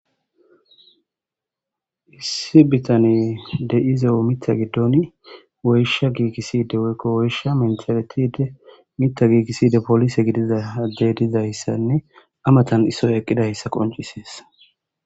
Issi bitane de'izeo mita giddon woysha giigiside woykko woysha mentherethide mita giikiside polise gidiza adde dizayssanne amatan isoy eqqidayssa qoncisees.